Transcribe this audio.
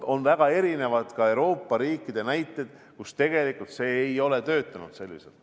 On väga palju näiteid Euroopa riikidest, kus see ei ole niimoodi toiminud.